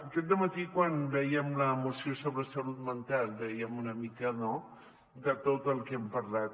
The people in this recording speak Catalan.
aquest dematí quan vèiem la moció sobre salut mental dèiem una mica no de tot el que hem parlat